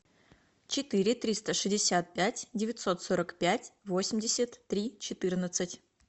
четыре триста шестьдесят пять девятьсот сорок пять восемьдесят три четырнадцать